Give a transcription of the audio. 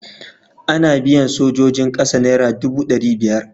Ana biyan sojojin ƙasa naira dubu ɗari biyar.